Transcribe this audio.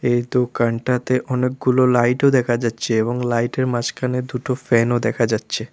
এই দোকানটাতে অনেকগুলো লাইটও দেখা যাচ্ছে এবং লাইটের মাঝখানে দুটো ফ্যানও দেখা যাচ্ছে।